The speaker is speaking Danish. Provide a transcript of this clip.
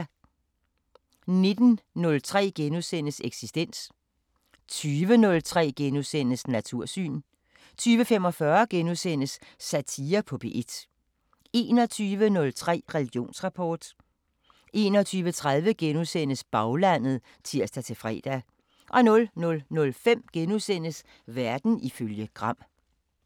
19:03: Eksistens * 20:03: Natursyn * 20:45: Satire på P1 * 21:03: Religionsrapport 21:30: Baglandet *(tir-fre) 00:05: Verden ifølge Gram *